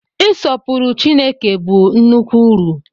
Ịsọpụrụ Chineke bụ nnukwu uru.